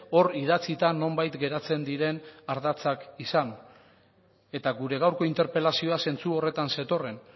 hor idatzita nonbait geratzen diren ardatzak izan eta gure gaurko interpelazioa zentzu horretan zetorren